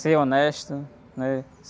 Ser honesto, né?